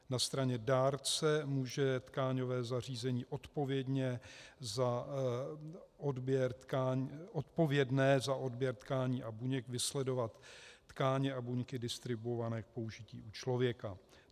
Na straně dárce může tkáňové zařízení odpovědné za odběr tkání a buněk vysledovat tkáně a buňky distribuované k použití u člověka.